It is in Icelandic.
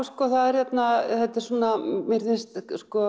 það virðist